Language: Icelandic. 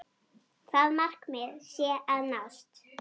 Það markmið sé að nást.